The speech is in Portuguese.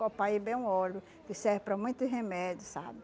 Copaíba é um óleo que serve para muitos remédio, sabe?